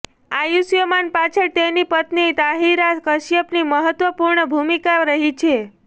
આયુષ્યમાન પાછળ તેની પત્ની તાહિરા કશ્યપની મહત્વપૂર્ણ ભૂમિકા રહી છે